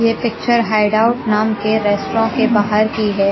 ये picture hide out नाम के रेस्टों के बाहर की है।